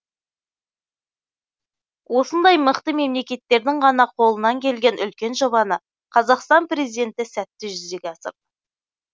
осындай мықты мемлекеттердің ғана қолына келген үлкен жобаны қазақстан президенті сәтті жүзеге асырды